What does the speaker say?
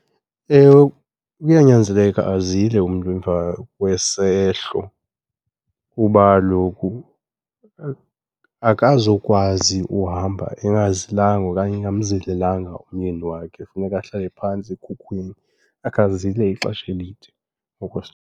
Ewe, kuyanyanzeleka azile umntu emva kwesehlo kuba kaloku akazokwazi uhamba engazilanga okanye engamzilelanga umyeni wakhe. Funeka ahlale phantsi ekhukhweni akhe azile ixesha elide, .